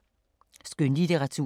Skønlitteratur